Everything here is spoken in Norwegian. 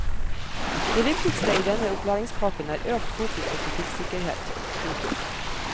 Det viktigste i denne opplæringspakken er økt fokus på trafikksikkerhet. punktum